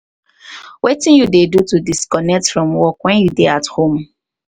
wetin you dey do to disconnect from work when you you dey at home.